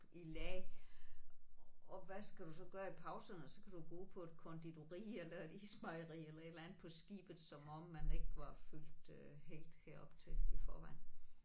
I lag og hvad skal du så gøre i pauserne så kan du bruge på et konditori eller et ismejeri eller et eller andet på skibet som om man ikke var fyldt helt herop til i forvejen